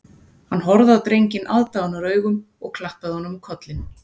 Hann horfði á drenginn aðdáunaraugum og klappaði honum á kollinn